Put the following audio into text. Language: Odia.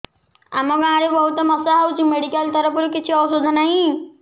ଆମ ଗାଁ ରେ ବହୁତ ମଶା ହଉଚି ମେଡିକାଲ ତରଫରୁ କିଛି ଔଷଧ ନାହିଁ